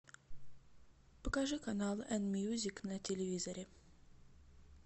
покажи канал эн мьюзик на телевизоре